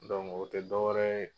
o tɛ dɔ wɛrɛ ye